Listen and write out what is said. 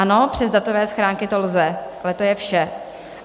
Ano, přes datové schránky to lze, ale to je vše.